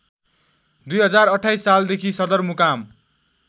२०२८ सालदेखि सदरमुकाम